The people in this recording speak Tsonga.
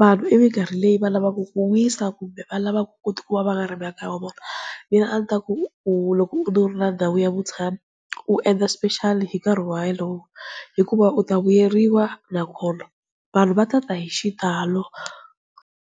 vanhu i minkarhi leyi va lavaka ku wisa kumbe va lavaka ku ti kuma va nga ri makaya ya vona. Mina a ndzi ta ku u loko u ri na ndhawu ya vutshamo u endla special hi nkarhi walowo. Hikuva u ta vuyeriwa nakona vanhu va ta ta hi xitalo.